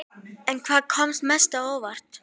En hvað kom mest á óvart?